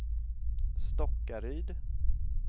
Stockaryd